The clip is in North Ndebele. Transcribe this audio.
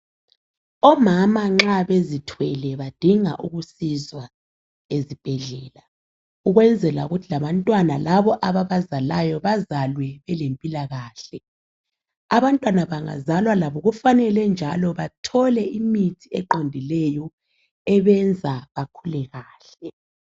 Omama nxa bezithwele badinga ukusizwa esibhedlela. Ukwenzela ukthi labantwana labo ababazalayo bazalwe belemphilakahle. Abantwana bangazalwa labo kufanele njalo bathole imihti eqondileyo ebenza bakhule kahle.